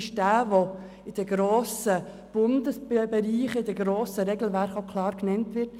Es handelt sich um jene Situationen, die in den grossen Regelwerken genannt werden.